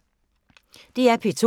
DR P2